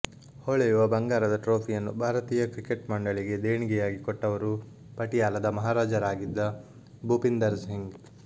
ಹೊಳೆಯುವ ಬಂಗಾರದ ಟ್ರೋಫಿಯನ್ನು ಭಾರತೀಯ ಕ್ರಿಕೆಟ್ ಮಂಡಳಿಗೆ ದೇಣಿಗೆಯಾಗಿ ಕೊಟ್ಟವರು ಪಟಿಯಾಲದ ಮಹಾರಾಜರಾಗಿದ್ದ ಭೂಪಿಂದರ್ ಸಿಂಗ್